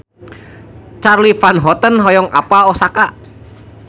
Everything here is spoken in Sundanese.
Charly Van Houten hoyong apal Osaka